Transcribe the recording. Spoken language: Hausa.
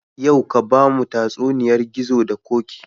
Yau ka bamu tatsuniyar gizo da koki